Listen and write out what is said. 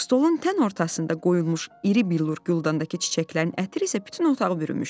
Stolun tən ortasında qoyulmuş iri billur güldandakı çiçəklərin ətri isə bütün otağı bürümüşdü.